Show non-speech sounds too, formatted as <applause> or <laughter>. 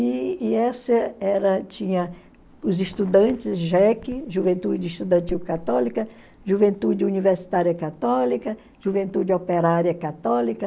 E e essa era tinha os estudantes <unintelligible> juventude estudantil católica, juventude universitária católica, juventude operária católica,